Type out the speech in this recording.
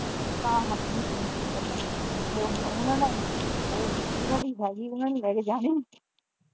ਤਾਂ ਹੱਟਣੀ ਫੋਨ ਚੁੱਕਣ ਤੋਂ ਉਹ ਹੁਣ ਉਹਨਾਂ ਨੇ ਉਹ ਜਿਹਨਾਂ ਦੀ ਹੈ ਗੀ ਉਹਨਾਂ ਨੇ ਲੈ ਕੇ ਜਾਣੀ ।